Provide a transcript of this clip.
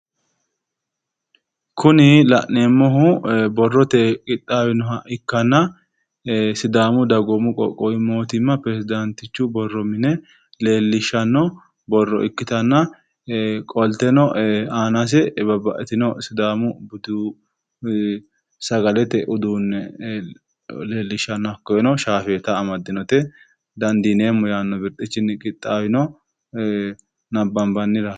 Kuni la'neemmohu borroteyi qixxaawinoha ikke sidaamu dagoomu qoqqowu mootimma biiro xawisannoho dandineemmo yinanni birxicha amade qixxaawi maxaafaati